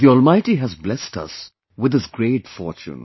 The Almighty has blessed us with this great fortune